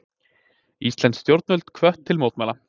Íslensk stjórnvöld hvött til að mótmæla